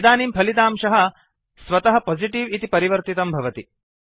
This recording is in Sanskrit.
इदानीं फलितांशः स्वतः पोजिटिव् इति परिवर्तितं भवति